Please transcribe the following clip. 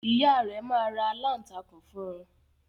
Ìyá rẹ̀ máa ra aláǹtakùn fún un.